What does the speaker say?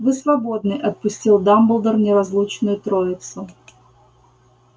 вы свободны отпустил дамблдор неразлучную троицу